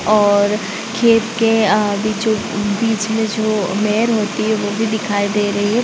और अ खेत के अ बीचो बीच-बीच में वो मेर होती है वो भी दिखाई दे रही है।